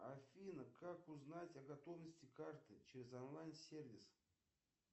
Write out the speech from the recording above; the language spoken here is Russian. афина как узнать о готовности карты через онлайн сервис